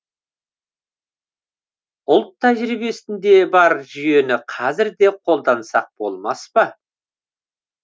ұлт тәжірибесінде бар жүйені қазір де қолдансақ болмас па